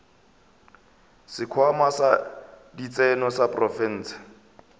sekhwama sa ditseno sa profense